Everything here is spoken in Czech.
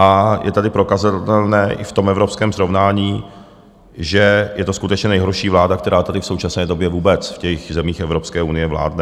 A je tady prokazatelné i v tom evropském srovnání, že je to skutečně nejhorší vláda, která tady v současné době vůbec v těch zemích Evropské unie vládne.